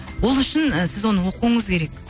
ол үшін сіз оны оқуыңыз керек